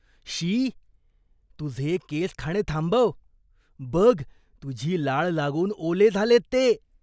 शी! तुझे केस खाणे थांबव. बघ, तुझी लाळ लागून ओले झालेत ते.